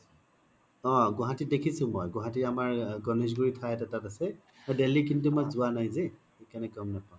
অ গুৱাহাতিত দেখিছো মই গুৱাহাতিত আমৰ গনেশ্গুৰি আছে আৰু দেল্লি মই জুৱা নাই জে সেইকাৰনে গ'ম নাপাও